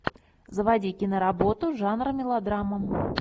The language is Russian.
заводи киноработу жанра мелодрама